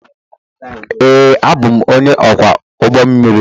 Ee, abụ m onye ọkwọ ụgbọ mmiri.